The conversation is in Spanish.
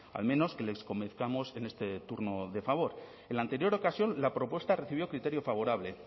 a menos que les convenzamos en este turno de favor en la anterior ocasión la propuesta recibió criterio favorable